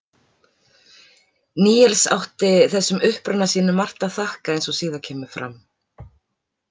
Níels átti þessum uppruna sínum margt að þakka eins og síðar kemur fram.